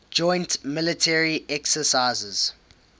joint military exercises